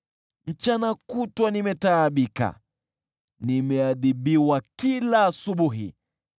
Mchana kutwa nimetaabika, nimeadhibiwa kila asubuhi.